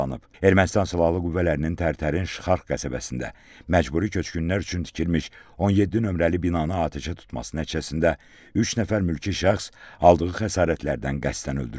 Ermənistan Silahlı Qüvvələrinin Tərtərin Şıxarx qəsəbəsində məcburi köçkünlər üçün tikilmiş 17 nömrəli binanı atəşə tutması nəticəsində üç nəfər mülki şəxs aldığı xəsarətlərdən qəsdən öldürülüb.